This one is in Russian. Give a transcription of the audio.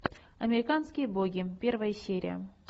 американские боги первая серия